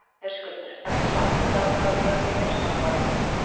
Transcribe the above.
Höskuldur: Ertu sátt við það að fara úr félagsmálaráðuneytinu?